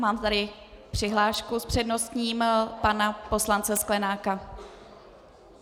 Mám tady přihlášku s předností, pana poslance Sklenáka.